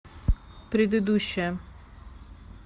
предыдущая